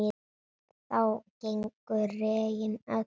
Þá gengu regin öll